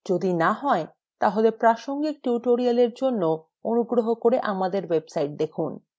যদি না হয় প্রাসঙ্গিক tutorials জন্য অনুগ্রহ করে আমাদের website দেখুন